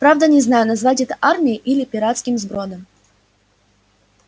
правда не знаю назвать это армией или пиратским сбродом